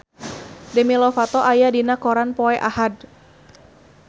Demi Lovato aya dina koran poe Ahad